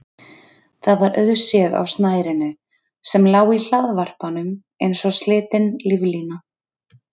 Það var auðséð á snærinu sem lá í hlaðvarpanum eins og slitin líflína.